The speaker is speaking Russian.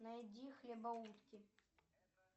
найди хлебоутки